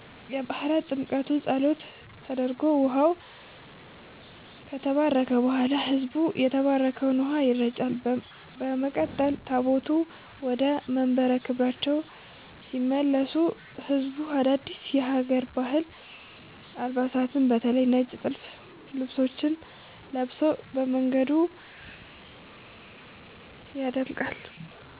የባሕረ ጥምቀቱ ጸሎት ተደርጎ ውኃው ከተባረከ በኋላ፣ ሕዝቡ በተባረከው ውኃ ይረጫል። በመቀጠል ታቦታቱ ወደየመንበረ ክብራቸው ሲመለሱ ሕዝቡ አዳዲስ የሀገር ባህል አልባሳትን (በተለይ ነጭ ጥልፍ ልብሶችን) ለብሶ መንገዱን ያደምቃል።